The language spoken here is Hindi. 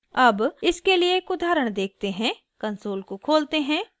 अब इसके लिए एक उदाहरण देखते हैं कंसोल को खोलते हैं